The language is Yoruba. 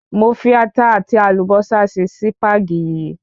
Mo fi ata àti àlùbósà sí Sípàgì yìí